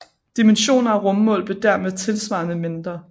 Dimensioner og rummål blev dermed tilsvarende mindre